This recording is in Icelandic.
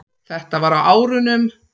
Þetta var á árunum